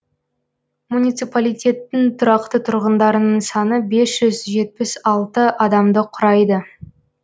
муниципалитеттің тұрақты тұрғындарының саны бес жүз жетпіс алты адамды құрайды